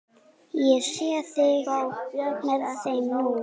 Ég sé þig með þeim nú.